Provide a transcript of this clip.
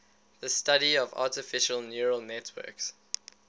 the study of artificial neural networks